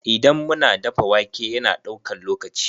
Idan mu na dafa wake, ya na daukan lokaci.